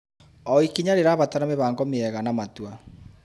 O ikinya rĩrabatara mĩbango mĩega na matua.